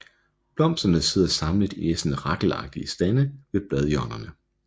Blomsterne sidder samlet i næsten rakleagtige stande ved bladhjørnerne